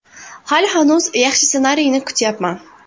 Hali hanuz yaxshi ssenariyni kutyapman.